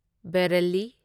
Bareilly